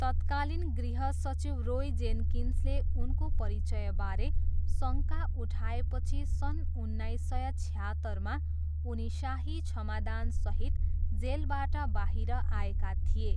तत्कालीन गृहसचिव रोय जेन्किन्सले उनको परिचयबारे शङ्का उठाएपछि सन् उन्नाइस सय छयात्तरमा उनी शाही क्षमादानसहित जेलबाट बाहिर आएका थिए।